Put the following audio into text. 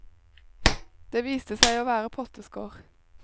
Det viste seg å være potteskår.